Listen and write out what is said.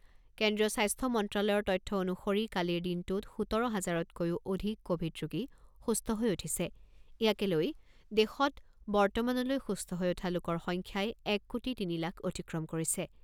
কেন্দ্ৰীয় স্বাস্থ্য মন্ত্ৰ্যালয়ৰ তথ্য অনুসৰি কালিৰ দিনটোত সোতৰ হাজাৰতকৈও অধিক ক’ভিড ৰোগী সুস্থ হৈ উঠিছে ৷ ইয়াকে লৈ দেশত বৰ্তমানলৈ সুস্থ হৈ উঠা লোকৰ সংখ্যাই এক কোটি তিনি লাখ অতিক্ৰম কৰিছে।